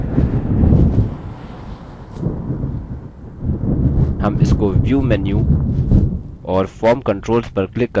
हम इसको view menu और form controls पर क्लिक करके ला सकते हैं